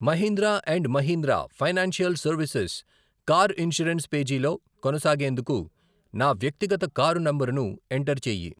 Mahindra and Mahindra financial services car insurance పేజీలో కొనసాగేందుకు నా వ్యక్తిగత కారు నంబరును ఎంటర్ చేయి.